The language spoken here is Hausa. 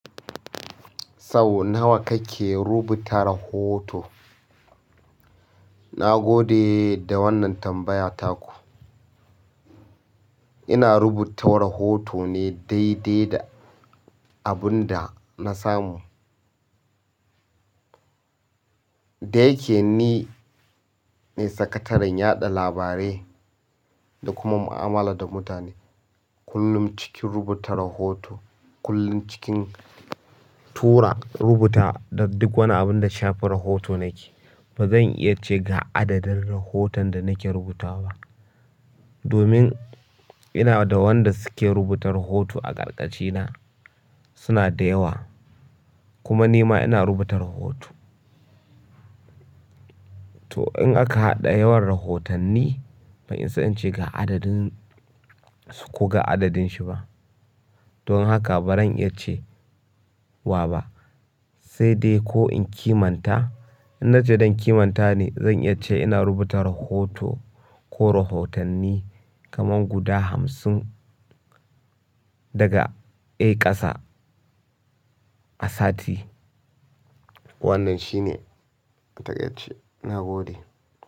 Sau nawa kake rubuta rahoto? Na gode da wannan tambaya taku. Ina rubuta rahoto ne daidai da abin da na samu. Da yake ni ne sakataren yaɗa labarai da kuma mu'amala da mutane, kullum cikin rubuta rahoto, kullum cikin tura rubuta da duk wani abin da shafi rahoto nake. Ba zan iya ce ga adadin rahoton da nake rubuta ba. Domin ina da wanda suke rubuta rahoto a ƙarƙashina suna da yawa, kuma ni ma ina rubuta rahoto. To in aka haɗa yawar rahotanni, bai isa in ce ga adadin su ko ga adadin shi ba. Don haka ba zan iya ce wa ba. Sai dai ko in kimanta, in na ce zan kimanta ne, zan iya ce ina rubuta rahoto ko rahotanni kaman guda hamsin daga a ƙasa a sati. Wannan shine, a takaice, na gode.